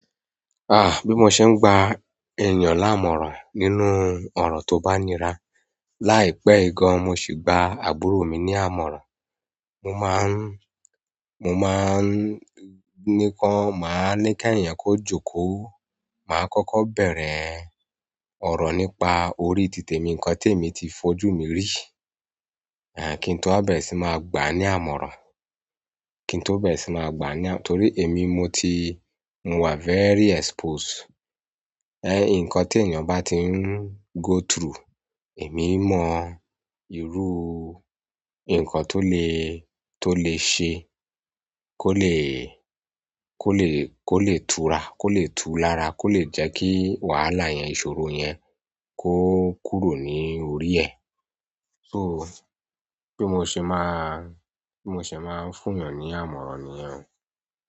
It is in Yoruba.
Ah, bí mo ṣe ń gba èèyàn láàmọ̀ràn nínú ọ̀rọ̀ tó bá nìra. Láìpẹ́ yìí gan, mo sì gba àbúrò mi ní àmọ̀ràn. Mo máa ń, mo máa ń níkan, màá ní kí ẹ̀yàn kó jókòó, màá kọ́kọ́ bẹ̀rẹ̀ ọ̀rọ̀ nípa orí tìtè mi, nǹkan tí èmi ti fojú mi rí. Ẹ̀ kín tó bá bẹ̀rẹ̀ sí máa gbà á ní àmọ̀ràn, kí n tó bá bẹ̀rẹ̀ sí máa gbà á ní àmọ̀ràn torí èmi mo ti, mo wà very exposed. Nǹkan tí èèyàn bá ti ń go through, èmi mọ́ irú nǹkan tó lè, tó lè ṣe, kó lè, kó lè, kó lè túra, kó lè tú lára, kó lè jẹ́ kí wàhálà yẹn, ìṣòro yẹn kó kúrò ní orí ẹ̀. So, bí mo ṣe máa ń fún ènìyàn ní àmọ̀ràn niyẹn o.